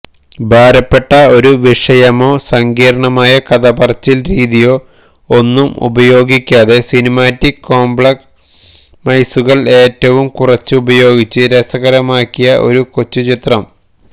ഭാരപ്പെട്ട ഒരു വിഷയമോ സങ്കീര്ണ്ണമായ കഥപറച്ചില് രീതിയോ ഒന്നും ഉപയോഗിയ്ക്കാതെ സിനിമാറ്റിക് കോംപ്രമൈസുകള് ഏറ്റവും കുറച്ചുപയോഗിച്ച് രസകരമാക്കിയ ഒരു കൊച്ചുചിത്രം